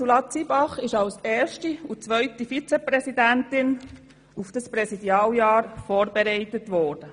Ursula Zybach ist als erste und zweite Vizepräsidentin auf dieses Präsidialjahr vorbereitet worden.